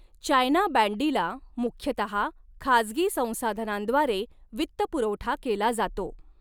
China बँडीला मुख्यतः खाजगी संसाधनांद्वारे वित्तपुरवठा केला जातो.